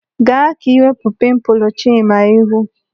Gaa ka iwepu pimpulu Chima ihu.